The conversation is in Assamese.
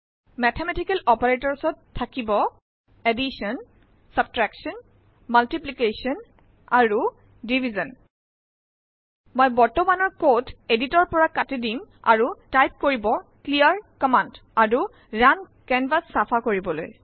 মেথমেটিকেল অপাৰেটৰ্ছ ত থাকিব আৰু মই বৰ্তমানৰ কোড এদিটৰ পৰা কাটি দিম আৰু টাইপ কৰিব ক্লিয়াৰ কম্মান্দ আৰু ৰুণ কেনভাচ চাফা কৰিবলৈ